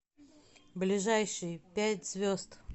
ближайший пять звезд